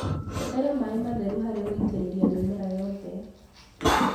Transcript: Hũthĩra maĩ matheru harĩ gũitĩrĩria mĩmera yothe.